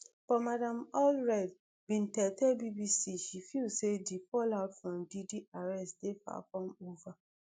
but madam allred bin tell tell bbc she feel say di fallout from diddy arrest dey far from ova